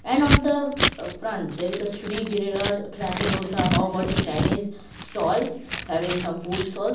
and on the ah front there is a giriraj trancy dosa paobhaji in chinese stall having some food stalls.